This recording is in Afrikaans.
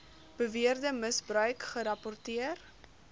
beweerde misbruik gerapporteer